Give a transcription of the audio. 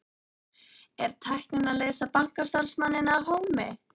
Er tæknin að leysa bankastarfsmanninn af hólmi?